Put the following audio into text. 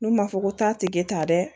N'u ma fɔ ko taa te kɛ ta dɛ